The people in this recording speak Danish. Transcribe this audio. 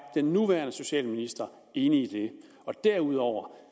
den nuværende socialminister enig i det derudover